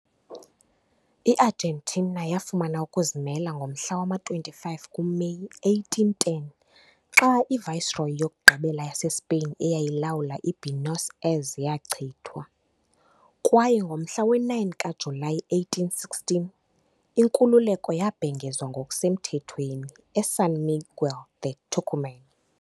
I-Argentina yafumana ukuzimela ngomhla wama-25 kuMeyi 1810 xa i -viceroy yokugqibela yaseSpain eyayilawula eBuenos Aires yachithwa, kwaye ngomhla we-9 kaJulayi 1816, inkululeko yabhengezwa ngokusemthethweni eSan Miguel de Tucumán.